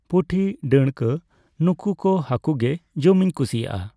ᱯᱩᱴᱤ, ᱰᱟᱹᱬᱠᱟᱹ ᱱᱩᱠᱩ ᱠᱚ ᱦᱟᱠᱩ ᱜᱮ ᱡᱚᱢᱤᱧ ᱠᱩᱥᱤᱣᱟᱜᱼᱟ᱾